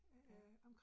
Ja